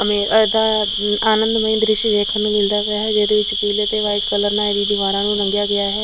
ਐਂਵੇ ਦਾ ਆਨੰਦ ਮਈ ਦ੍ਰਿਸ਼ ਵੇਖਣ ਨੂੰ ਮਿਲਦਾ ਪਿਆ ਏ ਜਿਹਦੇ ਵਿੱਚ ਪੀਲੇ ਤੇ ਵ੍ਹਾਈਟ ਕਲਰ ਨਾਲ ਇਹਦੀ ਦੀਵਾਰਾਂ ਨੂੰ ਰੰਗਿਆ ਗਿਆ ਹੈ।